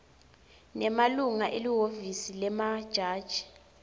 nemalunga elihhovisi lemajaji